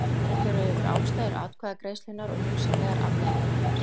Þar er farið yfir ástæður atkvæðagreiðslunnar og hugsanlegar afleiðingar hennar.